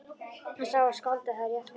Hann sá að skáldið hafði rétt fyrir sér.